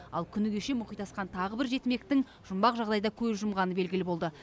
ал күні кеше мұхит асқан тағы бір жетімектің жұмбақ жағдайда көз жұмғаны белгілі болды